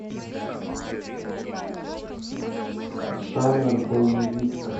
жанр боевик